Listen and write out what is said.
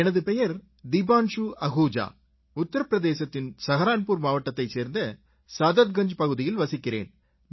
எனது பெயர் தீபான்சு அஹூஜா உத்திர பிரதேசத்தின் ஷஹாரன்புர் மாவட்டத்தைச் சேர்ந்த சாதத்கஞ்ஜ் பகுதியில் வசிக்கிறேன்